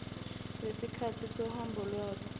wesikhathi sohambo lwabo